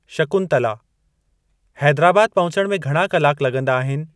शकुंतला: हैदराबाद पहुचणु में घणा कलाक लॻंदा आहिनि ?